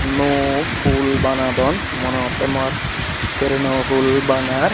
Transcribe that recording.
nuo pul banadon mone hotte mor treno pul banar.